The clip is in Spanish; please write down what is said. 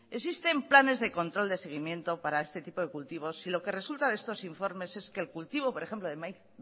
existen planes de control de seguimiento para este tipo de cultivos y lo que resulta de estos informes es que el cultivo por ejemplo el maíz